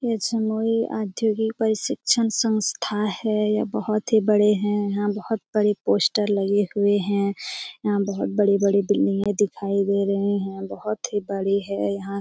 यह जमुई औद्योगिक प्रशिक्षण संस्था है। यह बोहोत ही बड़े है। यहाँ बोहोत बड़े पोस्टर लगे हुए है। यहाँ बोहोत बड़ी-बड़ी बिल्डिंगे दिखाई दे रहे है। बोहोत ही बड़ी है। यहाँ--